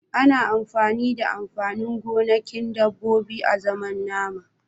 Ana amfani da amfanin gonakin dabbobi azaman nama.